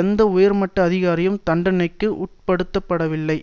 எந்த உயர்மட்ட அதிகாரியும் தண்டனைக்கு உட்படுத்தப்படவில்லை